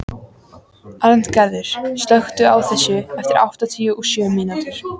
Arngarður, slökktu á þessu eftir áttatíu og sjö mínútur.